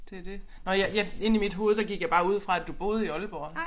Det det. Nåh ja jeg inde i mit hoved der gik jeg bare ud fra at du boede i Aalborg